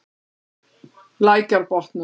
Lækjarbotnum